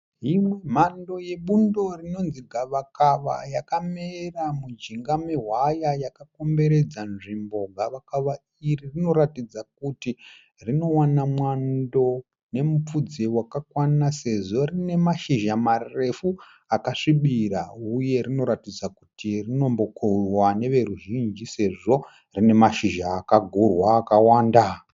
Imwe mhando yebundo rinonzi gavakava yakamera mujinga nehwaya yakakomberedza nzvimbo. Gavakava iri rinoratidza kuti rinowana mwando nemupfudze wakakwana sezvo rine mashizha marefu akasvibira uye rinoratidza kuti rinombokohwewa nevazhinji sezvo rine mashizha akagurwa akawanda.